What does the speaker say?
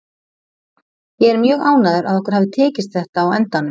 Ég er mjög ánægður að okkur hafi tekist þetta á endanum.